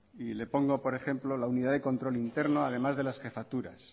y le pongo por ejemplo la unidad de control interno además de las jefaturas